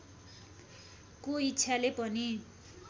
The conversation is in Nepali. को इच्छाले पनि